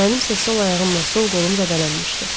Mənim isə sol ayağımla sol qolum zədələnmişdi.